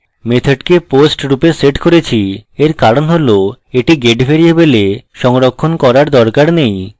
method the post রূপে set করেছি এর কারণ হল the get ভ্যারিয়েবলে সংরক্ষণ করার দরকার নেই